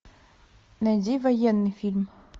найди военный фильм